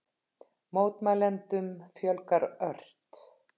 Mótmælendum fjölgar ört